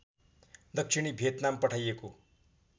दक्षिणी भियतनाम पठाइएको